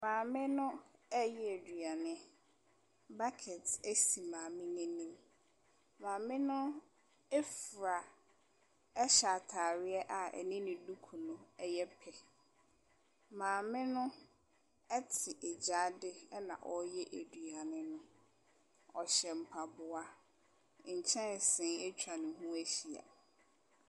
Maame no reyɛ aduane. Bucket si maame no anim. Maame no fura hyɛ atareɛ a ɛne ne duku no yɛ pɛ. Maame no te gyaade na ɔreyɛ aduane no. ɔhyɛ mpaboa. Nkyɛnse atwa ne ahyia.